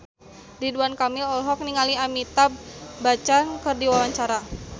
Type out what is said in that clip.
Ridwan Kamil olohok ningali Amitabh Bachchan keur diwawancara